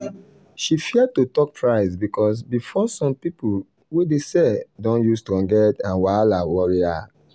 she fear to talk price because before some people way dey sell don use strong head and wahala worry her.